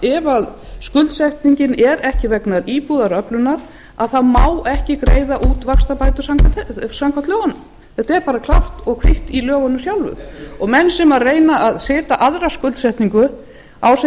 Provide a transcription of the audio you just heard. ef skuldsetningin er ekki vegna íbúðaröflunar má ekki greiða út vaxtabætur samkvæmt lögunum þetta er bara klárt og kvitt í lögunum sjálfum og menn sem reyna að setja aðra skuldsetningu á